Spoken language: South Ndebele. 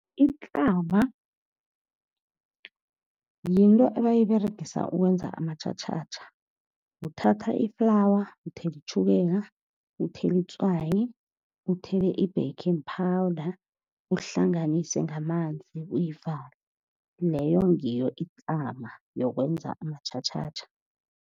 Ihlama yinto abayiberegisa ukwenza amatjhatjhatjha. Uthatha i-flour, uthela itjhukela, uthela itswayi, uthele i-baking powder, uhlanganise ngamanzi uyivale. Leyo ngiyo ihlama yokwenza amatjhatjhatjha.